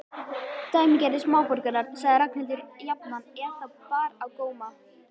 Dæmigerðir smáborgarar sagði Ragnhildur jafnan ef þá bar á góma.